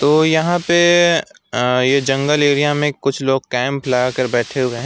तो यहां पे अ ये जंगल एरिया में कुछ लोग कैंप लगा कर बैठे हुए हैं।